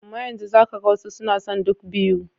Amma za ka ga wasu suna son duk biyu.